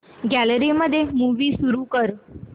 gallery मध्ये movie सुरू कर